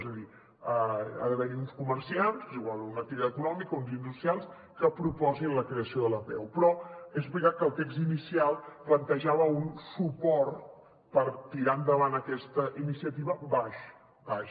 és a dir ha d’haver hi uns comerciants o una activitat econòmica o uns industrials que proposin la creació de l’apeu però és veritat que el text inicial plantejava un suport per tirar endavant aquesta iniciativa baix baix